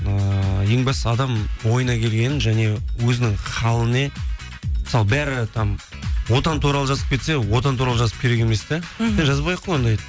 ыыы ең бастысы адам ойына келгенін және өзінің халіне мысалы бәрі отан туралы жазып кетсе отан туралы жазып керек емес те мхм сен жазбай ақ қой ондайды